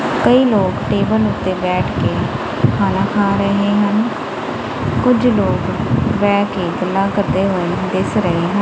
ਕਈ ਲੋਕ ਟੇਬਲ ਉੱਤੇ ਬੈਠ ਕੇ ਖਾਣਾ ਖਾ ਰਹੇ ਹਨ ਕੁਝ ਲੋਕ ਬਹਿ ਕੇ ਗੱਲਾਂ ਕਰਦੇ ਹੋਏ ਦਿਸ ਰਹੇ--